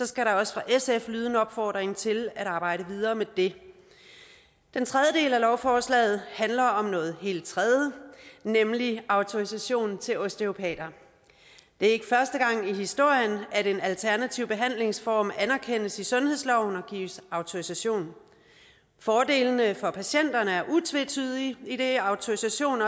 skal der også fra sf lyde en opfordring til at arbejde videre med det den tredje del af lovforslaget handler om noget helt tredje nemlig autorisation til osteopater det er ikke første gang i historien at en alternativ behandlingsform anerkendes i sundhedsloven og gives autorisation fordelene for patienterne er utvetydige idet autorisation